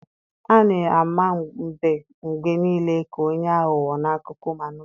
A na-ama mbe mgbe niile ka onye aghụghọ n'akụkọ ụmụ anụmanụ